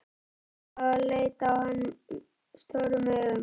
Stella og leit á hann stórum augum.